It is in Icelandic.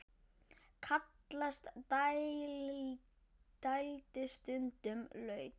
Kallast dældin stundum laut.